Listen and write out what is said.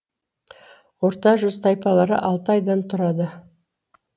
орта жүз тайпалары алты айдан тұрады